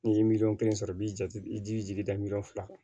N'i ye miliyɔn kelen sɔrɔ i b'i ja i jija jigi da miliyɔn fila kan